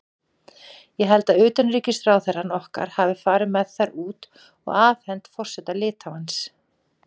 Ég held að utanríkisráðherrann okkar hafi farið með þær út og afhent forseta Litháens.